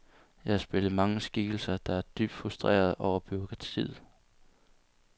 Jeg har spillet mange skikkelser, der er dybt frustrerede over bureaukratiet.